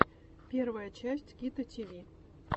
первая часть кито тиви